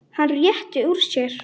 Hann rétti úr sér.